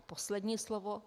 A poslední slovo.